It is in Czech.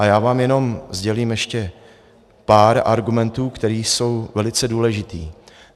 A já vám jenom sdělím ještě pár argumentů, které jsou velice důležité.